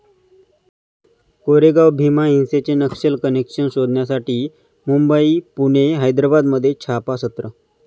कोरेगाव भीमा हिंसेचे नक्षल कनेक्शन शोधण्यासाठी मुंबई, पुणे, हैद्राबादमध्ये छापासत्र